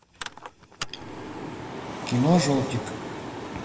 кино желтик